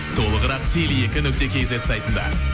толығырақ теле екі нүкте кейзет сайтында